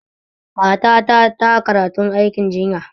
Matata ta karatun aikin jinya